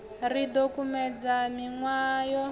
ro ḓi kumedzela miṅwahani yo